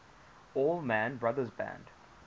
allman brothers band